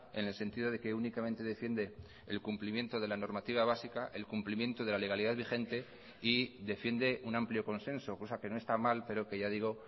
en el sentido de que únicamente defiende el cumplimiento de la normativa básica el cumplimiento de la legalidad vigente y defiende un amplio consenso cosa que no está mal pero que ya digo